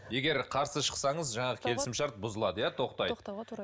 егер қарсы шықсаңыз жаңағы келісім шарт бұзылады иә тоқтайды